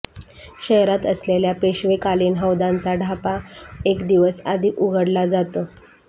शहरात असलेल्या पेशवेकालीन हौदांचा ढापा एक दिवस आधी उघडला जातो